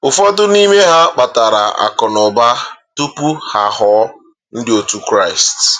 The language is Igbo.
Ụfọdụ n’ime ha kpatara akụnaụba tupu ha aghọọ ndị otu Kraịst.